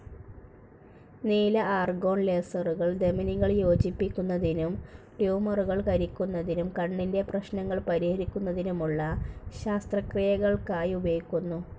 നീല ആർഗോൺ ലേസറുകൾ ധമനികൾ യോജിപ്പിക്കുന്നതിനും ട്യൂമറുകൾ കരിക്കുന്നതിനും, കണ്ണിന്റെ പ്രശ്നങ്ങൾ പരിഹരിക്കുന്നതിനുമുള്ള ശസ്ത്രക്രിയകൾക്കായി ഉപയോഗിക്കുന്നു.